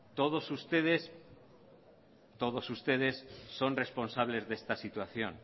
todos ustedes son responsables de esta situación